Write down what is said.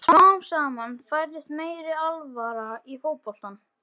Smám saman færðist meiri alvara í fótboltann.